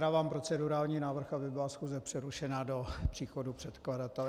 Dávám procedurální návrh, aby byla schůze přerušena do příchodu předkladatele.